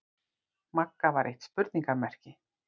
Magga var eitt spurningarmerki.